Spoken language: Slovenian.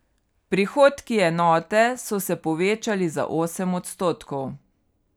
Prihodki enote so se povečali za osem odstotkov.